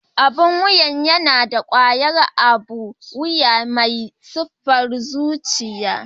Abun wuya yana da ƙwayar abun wuya mai sifar zuciya.